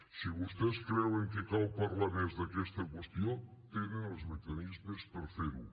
si vostès creuen que cal parlar més d’aquesta qüestió tenen els mecanismes per fer ho